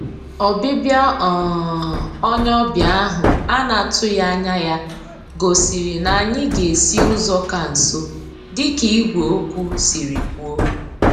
Ọbịbịa um onye ọbịa ahụ ana-atụghị anya ya gosiri na anyị ga-esi ụzọ ka nso dịka ìgwè okwu siri kwuo